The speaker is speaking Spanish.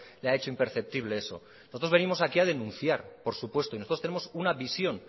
le ha hecho imperceptible eso nosotros venimos aquí a denunciar por supuesto y nosotros tenemos una visión